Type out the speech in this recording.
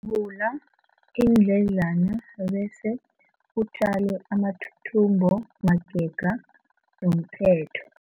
Vula iindledlana bese utjale amathuthumbo magega nomphetho.